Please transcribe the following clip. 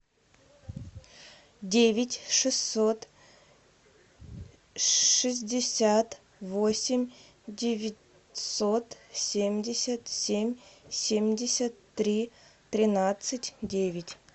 девять шестьсот шестьдесят восемь девятьсот семьдесят семь семьдесят три тринадцать девять